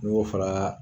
N'i y'o fara